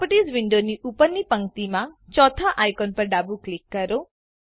properties વિન્ડોની ઉપરની પંક્તિમાં ચોથા આઈકોન પર ડાબું ક્લિક કરો